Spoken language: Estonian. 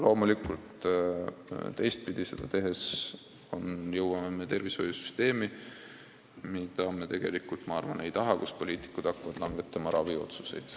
Teistpidi asjakorralduse puhul me jõuaks tervishoiusüsteemini, mida me tegelikult ju ei taha: me ei taha, et poliitikud hakkavad langetama raviotsuseid.